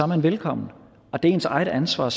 man velkommen og det er ens eget ansvar at